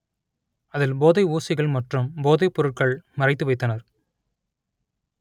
‌அதில் போதை ஊசிகள் மற்றும் போதைப்பொருட்கள் மறைத்து வைத்தனர்